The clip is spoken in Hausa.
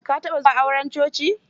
Ka taɓa zuwa aure a coci?